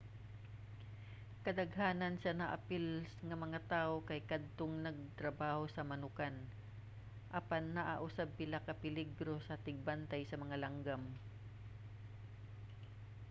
kadaghanan sa naapil nga mga tawo kay kadtong nagtrabaho sa manokan apan naa usab pila ka peligro sa tigbantay sa mga langgam